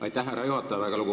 Aitäh, härra juhataja!